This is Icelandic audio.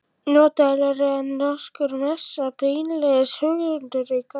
Notalegri en nokkur messa, beinlínis huggunarríkar.